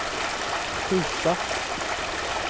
skjuta